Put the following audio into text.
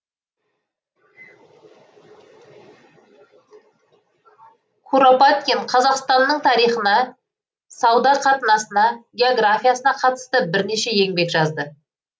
куропаткин қазақстанның тарихына сауда қатынасына географиясына қатысты бірнеше еңбек жазды